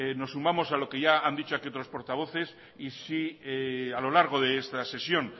nos sumamos a lo que ya han dicho aquí otros portavoces y si a lo largo de esta sesión